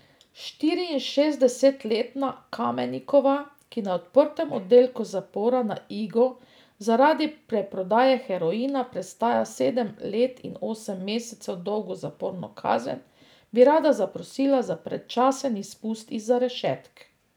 Štiriinšestdesetletna Kamenikova, ki na odprtem oddelku zapora na Igu zaradi preprodaje heroina prestaja sedem let in osem mesecev dolgo zaporno kazen, bi rada zaprosila za predčasen izpust izza rešetk.